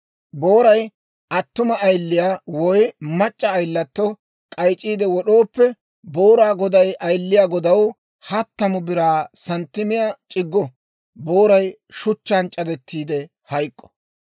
Booray attuma ayiliyaa woy mac'c'a ayilatto k'ayc'c'iide wod'ooppe, booraa goday ayiliyaa godaw hattamu biraa santtimiyaa c'iggo. Booray shuchchaan c'adettiide hayk'k'o.